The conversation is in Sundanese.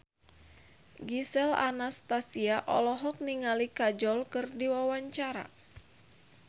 Gisel Anastasia olohok ningali Kajol keur diwawancara